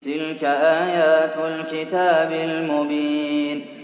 تِلْكَ آيَاتُ الْكِتَابِ الْمُبِينِ